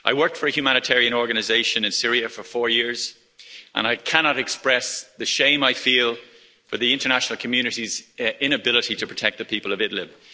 I worked for a humanitarian organisation in Syria for four years and I cannot express the shame I feel for the international community's inability to protect the people of Idlib.